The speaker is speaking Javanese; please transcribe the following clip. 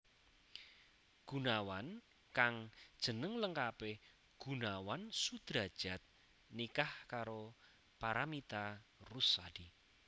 Gunawan kang jeneng lengkapé Gunawan Sudradjat nikah karo Paramitha Rusady